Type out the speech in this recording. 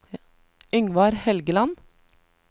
Yngvar Helgeland